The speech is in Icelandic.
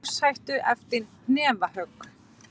Í lífshættu eftir hnefahögg